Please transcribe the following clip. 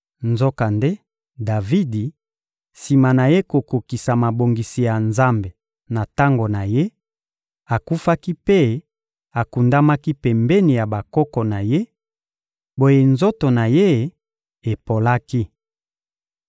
Nzokande, Davidi, sima na ye kokokisa mabongisi ya Nzambe na tango na ye, akufaki mpe akundamaki pembeni ya bakoko na ye; boye nzoto na ye epolaki.